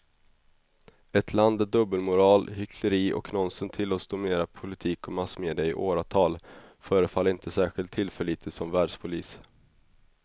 Ett land där dubbelmoral, hyckleri och nonsens tillåts dominera politik och massmedia i åratal förefaller inte särskilt tillförlitligt som världspolis.